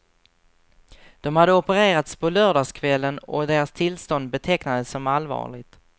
De hade opererats på lördagskvällen och deras tillstånd betecknades som allvarligt.